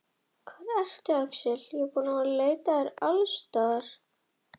Smæð mannlífsins passar ekki fyrir þessa uppfærslu jökulkrýndum fjallahring slær inn og breytist í skáldskap.